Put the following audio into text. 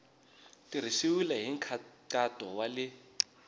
tirhisiwile hi nkhaqato wa le